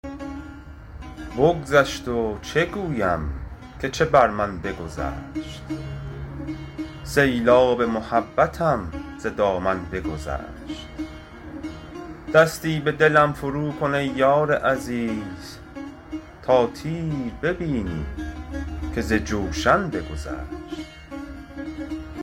بگذشت و چه گویم که چه بر من بگذشت سیلاب محبتم ز دامن بگذشت دستی به دلم فرو کن ای یار عزیز تا تیر ببینی که ز جوشن بگذشت